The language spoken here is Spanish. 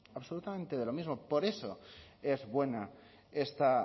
absolutamente de lo mismo por eso es buena esta